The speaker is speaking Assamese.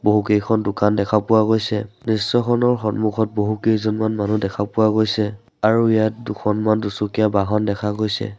বহুকেইখন দোকান দেখা পোৱা গৈছে দৃশ্যখনৰ সন্মুখত বহুকেইজনমান মানুহ দেখা পোৱা গৈছে আৰু ইয়াত দুখনমান দুচকীয়া বাহন দেখা গৈছে।